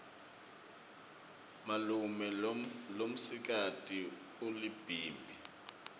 malume lomsikati ulibhimbi